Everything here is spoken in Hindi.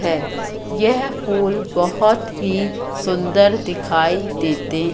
हैं यह फूल बहोत ही सुंदर दिखाई देते--